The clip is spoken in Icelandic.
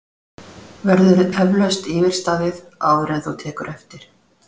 Verður eflaust yfirstaðið, áður en þú tekur eftir?!